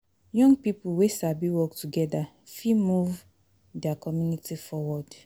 Young pipo wey sabi work togeda fit move dia community forward